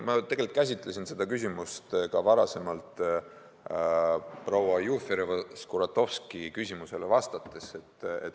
Tegelikult ma käsitlesin seda küsimust ka proua Jufereva-Skuratovski küsimusele vastates.